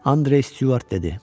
Andrew Stuart dedi.